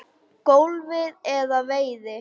golfi eða veiði.